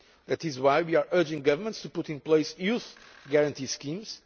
That is why we are urging governments to put in place youth guarantee schemes.